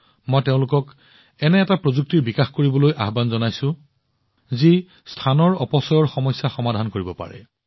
মই তেওঁলোকক এটা প্ৰযুক্তিৰ ওপৰত কাম কৰিবলৈ এটা প্ৰত্যাহ্বান দিছো যিয়ে মহাকাশৰ অপচয় সমাধান কৰিব পাৰে